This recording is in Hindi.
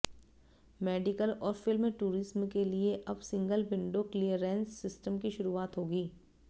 मेडिकल और फिल्म टूरिज्म के लिए अब सिंगल विंडो क्लीयरेंस सिस्टम की शुरुआत होगी